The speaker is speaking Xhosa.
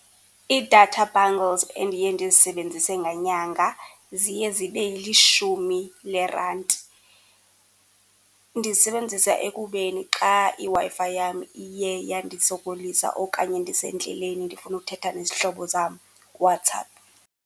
Ii-data bundles endiye ndizisebenzise ngenyanga ziye zibe lishumi leerandi. Ndizisebenzisa ekubeni xa iWi-Fi yam iye yandisokolisa okanye ndisendleleni ndifuna ukuthetha nezihlobo zam kuWhatsApp.